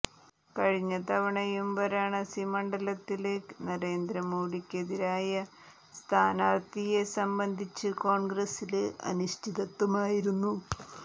കഴിഞ്ഞതവണയും വാരാണസി മണ്ഡലത്തില് നരേന്ദ്ര മോഡിക്കെതിരായ സ്ഥാനാര്ഥിയെ സംബന്ധിച്ച് കോണ്ഗ്രസില് അനിശ്ചിതത്വമായിരുന്നു